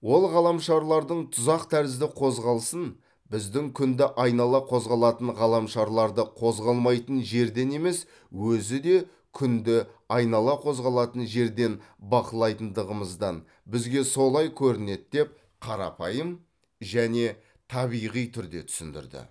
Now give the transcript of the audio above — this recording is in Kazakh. ол ғаламшарлардың тұзақ тәрізді қозғалысын біздің күнді айнала қозғалатын ғаламшарларды қозғалмайтын жерден емес өзі де күнді айнала қозғалатын жерден бақылайтындығымыздан бізге солай көрінеді деп қарапайым және табиғи түрде түсіндірді